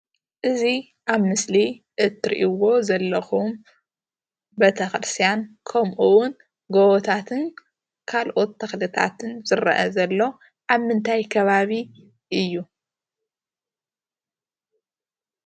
እዙይ ኣብ ምስሊ እትርእይዎ ዘለኩም ቤተ ክስርትያን ከምኡ እውን ጎቦታትን ካልኦት ተክልታትን ዝርአ ዘሎ ኣብ ምንታይ ከባቢ እዩ?